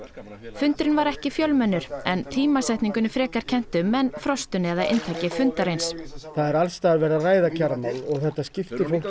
fundurinn var ekki mjög fjölmennur en tímasetningunni frekar kennt um en frostinu eða inntaki fundarins það er alls staðar verið að ræða kjaramál og þetta skiptir fólk